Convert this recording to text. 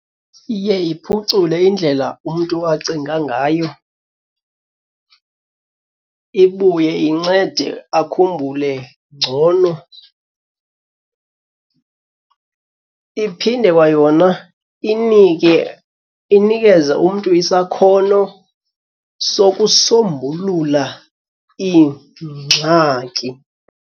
Iye iphucule indlela umntu acinga ngayo ibuye incede akhumbule ngcono. Iphinde kwayona inike inikeze umntu isakhono sokusombulula iingxaki.